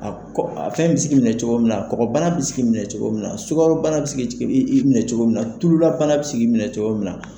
A fɛn bi se k'i minɛ cogo min na kɔkɔbana bɛ se k'i minɛ cogo min na sukaro bana bɛ se k'i minɛ cogo min na tululabana bɛ se k'i minɛ cogo min na.